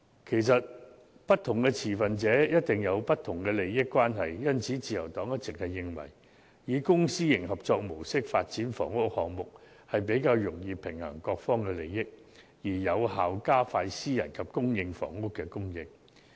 其實，不同持份者一定會有不同的利益關係，因此，自由黨一直認為，以公私營合作模式發展房屋項目，會較易平衡各方利益，從而有效加快私人及公營房屋的供應。